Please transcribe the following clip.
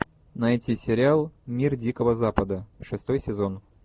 найти сериал мир дикого запада шестой сезон